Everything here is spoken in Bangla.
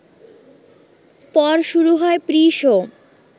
পর শুরু হয় 'প্রি শো